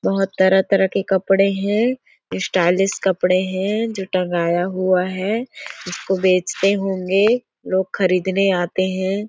बहुत तरह-तरह के कपड़े है स्टायलिश कपड़े है जो टँगाया हुआ है इसको बेचते होंगे लोग खरीदने आते है।